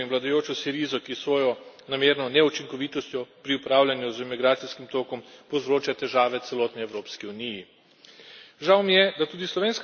Žal mi je, da moram tu omeniti Grčijo in vladajočo Sirizo, ki s svojo namerno neučinkovitostjo pri upravljanju z migracijskim tokom povzroča težave celotni Evropski uniji.